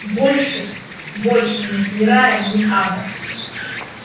больше больше нет ни рая ни ада